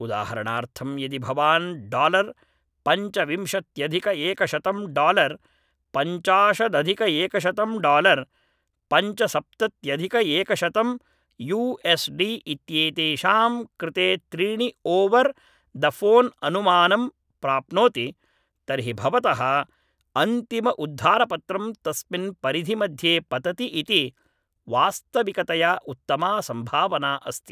उदाहरणार्थं यदि भवान् डालर् पञ्चविंशत्यधिकएकशतं डालर् पञ्चाशदधिकएकशतं डालर् पञ्चसप्तत्यधिकएकशतं यू एस् डी इत्येतेषां कृते त्रीणि ओवर् द फोन् अनुमानं प्राप्नोति तर्हि भवतः अन्तिम उद्धारपत्रं तस्मिन् परिधिमध्ये पतति इति वास्तविकतया उत्तमा सम्भावना अस्ति